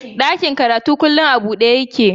Ɗakin karatun kullum a buɗe yake